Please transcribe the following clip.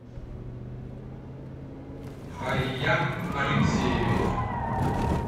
хайям алексеевич